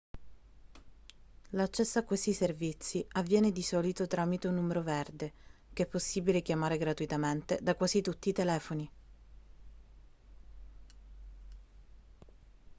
l'accesso a questi servizi avviene di solito tramite un numero verde che è possibile chiamare gratuitamente da quasi tutti i telefoni